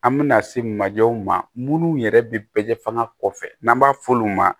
An bɛna se majɔ ma minnu yɛrɛ bɛ bɛɛ fanga kɔfɛ n'an b'a f'olu ma